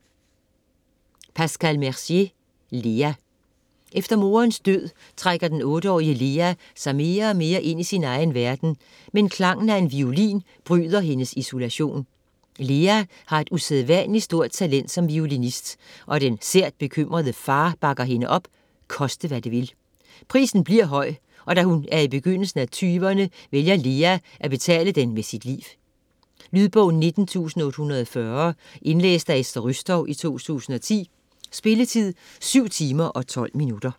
Mercier, Pascal: Lea Efter moderens død trækker den 8-årige Lea sig mere og mere ind i sin egen verden, men klangen af en violin bryder hendes isolation. Lea har et usædvanligt stort talent som violinist, og den sært bekymrede far bakker hende op, koste hvad det vil. Prisen bliver høj, og da hun er i begyndelsen af 20'erne, vælger Lea at betale den med sit liv. Lydbog 19840 Indlæst af Esther Rützou, 2010. Spilletid: 7 timer, 12 minutter.